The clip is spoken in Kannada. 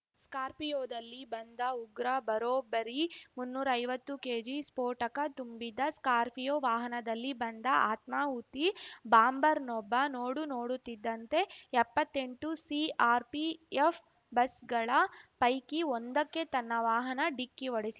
ಸ್ಕಾರ್ಪಿಯೋದಲ್ಲಿ ಬಂದ ಉಗ್ರ ಬರೋಬ್ಬರಿ ಮುನ್ನೂರು ಐವತ್ತು ಕೆಜಿ ಸ್ಫೋಟಕ ತುಂಬಿದ್ದ ಸ್ಕಾರ್ಪಿಯೋ ವಾಹನದಲ್ಲಿ ಬಂದ ಆತ್ಮಾಹುತಿ ಬಾಂಬರ್‌ನೊಬ್ಬ ನೋಡುನೋಡುತ್ತಿದ್ದಂತೆ ಎಪ್ಪತ್ತೆಂಟು ಸಿಆರ್‌ಪಿಎಫ್‌ ಬಸ್‌ಗಳ ಪೈಕಿ ಒಂದಕ್ಕೆ ತನ್ನ ವಾಹನ ಡಿಕ್ಕಿ ಹೊಡೆಸಿ